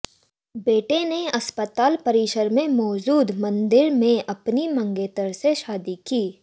बेटे ने अस्पताल परिसर में मौजूद मंदिर में अपनी मंगेतर से शादी की